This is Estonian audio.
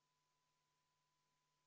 Ma palun seda muudatusettepanekut hääletada!